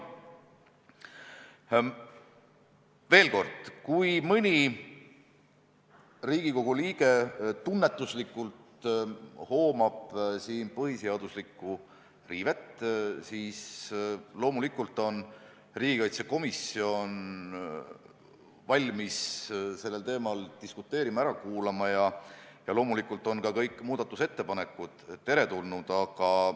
Veel kord: kui mõni Riigikogu liige tunnetuslikult hoomab siin põhiseaduslikku riivet, siis on riigikaitsekomisjon loomulikult valmis sellel teemal diskuteerima, ära kuulama, ja ka kõik muudatusettepanekud on teretulnud.